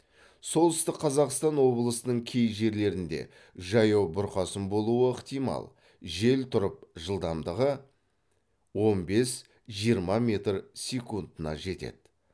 солтүстік қазақстан облысының кей жерлерінде жаяу бұрқасын болуы ықтимал жел тұрып жылдамдығы он бес жиырма метр секундына жетеді